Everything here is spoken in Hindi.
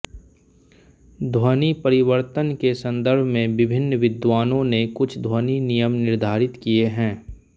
ध्वनिपरिवर्तन के संदर्भ में विभिन्न विद्वानों ने कुछ ध्वनि नियम निर्धारित किए हैं